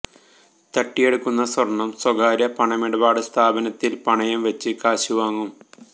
തട്ടിയെടുക്കുന്ന സ്വർണം സ്വകാര്യ പണമിടപാട് സ്ഥാപനത്തിൽ പണയം വെച്ച് കാശ് വാങ്ങും